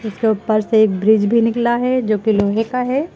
उपर से एक ब्रिज भी निकला है जोकि लोहे का है।